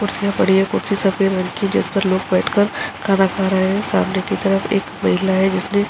कुर्सियाँ पड़ी हैं। कुर्सी सफ़ेद रंग की है जिसपर लोग बैठकर खाना खा रहे हैं। सामने की तरफ एक महिला है जिसने --